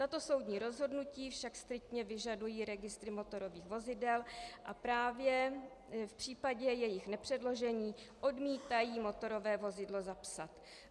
Tato soudní rozhodnutí však striktně vyžadují registry motorových vozidel a právě v případě jejich nepředložení odmítají motorové vozidlo zapsat.